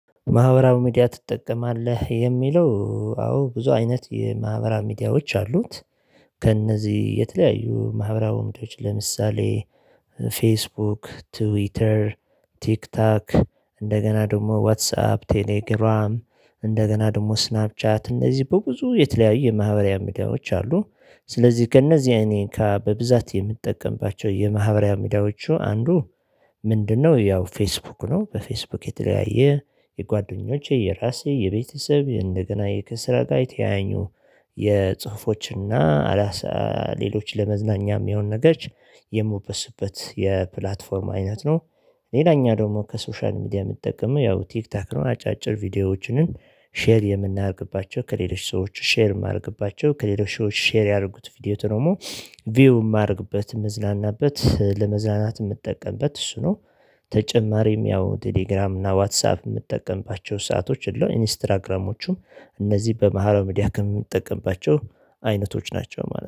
ማህበራዊ ሚዲያ ትጠቀማለህ? የሚለው አዎ ብዙ አይነት የማህበራዊ ሚዲያዎች አሉት። ከእነዚህ የተለያዩ ማህበራዊ ወንዶች ለምሳሌ ፌስቡክ፣ ትዊተር፣ ቲክቶክ እንደገና ደግሞ ዋትሳፕ፣ ቴሌግራም እንደገና ደግሞ ስናብ ቻት፣ እንደዚህ በብዙ የተለያዩ የማህበሪያ ሚዲያዎች አሉ። ስለዚህ ከእነዚህ እኔ ካ በብዛት የምጠቀምባቸው የማህበሪያ ሚዲያዎቹ አንዱ ምንድነው? ያው ፌስቡክ ነው በፌስቡክ የተለያየ የጓደኞቼ የራሴ የቤተሰብ እንደገና የክስራ ጋይ ተያኙ የጽሁፎችና አላሳ ሌሎች ለመዝናኛ የሚሆን ነገር የሚወበዙበት የፕላትፎርም አይነት ነው። ሌላኛ ደግሞ ከሶሻል ሚዲያ የምትጠቀመው ያው ቲክቶክ ነው አጫጭር ቪዲዮዎችንን ሼር የምናደርግባቸው ከሌሎች ሰዎች ሼር የማደርግባቸው ከሌሎች ሰዎች ሼር ያድርጉት ቪዲዮ ደግሞ ቪው የማደርግበት የምዝላናበት ለመዝላናት ለመዝለናት የምትጠቀምበት እሱ ነው። ተጨማሪም ያው ቴሌግራም እና ዋትሳፕ የምትጠቀምባቸው ሰአቶች እለው። ኢንስትራግራሞቹም እነዚህ በማህበራ መድያ ከምንጠቀምባቸው አይነቶች ናቸው ማለት ነው።